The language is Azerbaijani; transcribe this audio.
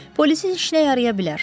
Polisin işinə yaraya bilər,